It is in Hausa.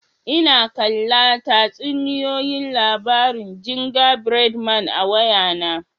N'na kalla tatsuniyoyi labari'n ginja bread man a'waya na.